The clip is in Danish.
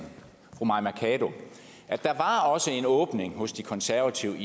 fru mai mercado at der også var en åbning hos de konservative